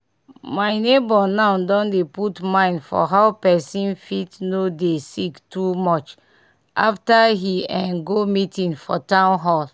my neighbour now don dey put mind for how pesin fit no dey sick too much after he eh go one meeting for town hall